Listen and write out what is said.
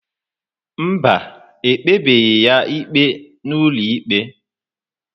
Mba, e kpebeghị ya ikpe n'ụlọikpe.